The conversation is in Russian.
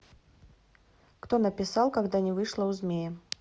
кто написал когда не вышло у змея